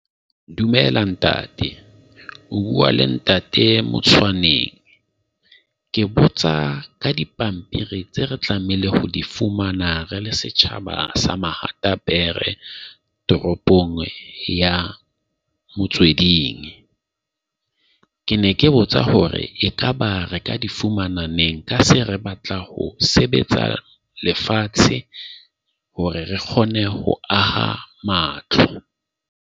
Dumela, ntate. O bua le ntate Motshwane . Ke botsa ka dipampiri tse re tlamehile ho di fumana re le setjhaba sa Mahata Pere, toropong ya Motsweding. Ke ne ke botsa hore ekaba re ka di fumana neng, ka se re batla ho sebetsa lefatshe hore re kgone ho aha matlo.